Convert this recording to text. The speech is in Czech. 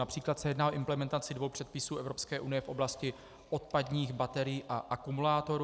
Například se jedná o implementaci dvou předpisů Evropské unie v oblasti odpadních baterií a akumulátorů.